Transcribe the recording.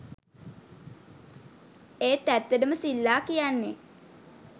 ඒත් ඇත්තටම සිල්ලා කියන්නේ .